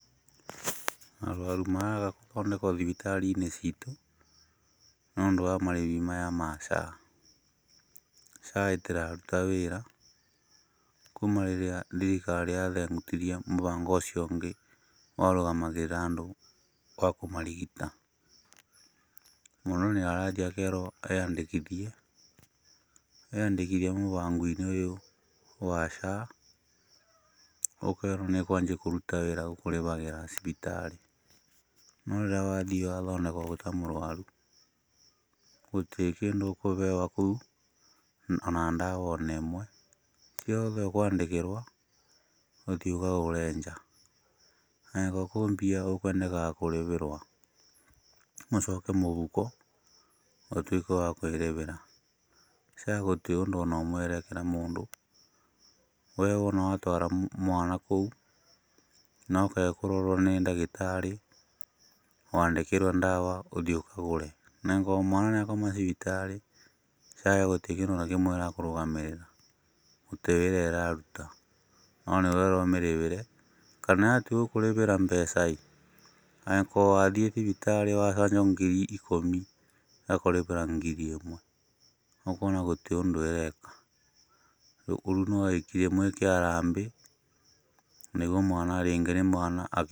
Arwaru maraga gũthondekwa thibitarĩ ciitũ nĩũndũ wa marĩhi maya ma SHA, SHA ĩtĩraruta wĩra kuuma rĩrĩa thirikari yathengutirie mũbango ũcio ũngĩ warũgamagĩrĩra andũ wakũmarigita, mũndũ nĩarathiĩ akerwo eyandĩkithie, eyandĩkithia mũbango ũyũ wa SHA ũkerwo nĩũkwambia kũruta wĩra gũkũrĩbĩra cibitarĩ, no rĩrĩa wathiĩ wathondeka wĩ ta mũrwaru gũtĩkĩndũ ũkũbeo kũu ona ndawa onemwe ciothe ũkwandĩkĩrwo, ũthiĩ ũkagũre nja, angĩkorwo kwĩ mbia ũkwendaga kũrĩbĩrwo, mũcoke mũhuko ũtuĩke wa kwĩrĩbĩra. SHA gũtĩ ũndũ ona ũmwe ĩrekĩra mũndũ, we wona watwara mwana kũu nokage kũrorwo nĩ ndagĩtarĩ, wandĩkĩrwo ndawa ũthiĩ ũkagũre na angĩkorwo mwana nĩakoma thibitarĩ SHA gũtĩrĩ kĩndũ ona kĩmwe ĩrakũrũgamĩrĩra, gũtĩ wĩra ũraruta no nĩ ũrerwo ũmĩrĩhĩre na yatwa gũkũrĩhĩra mbeca ĩ, angĩkoo wathiĩ thibitarĩ wacanjwo ngiri ikũmi ĩgakũrĩhĩra ngiri ĩmwe ũkona gũtĩ ũndũ ĩreka ,rĩũ nowĩkire harambee nĩguo mwana, rĩngĩ nĩ mwana.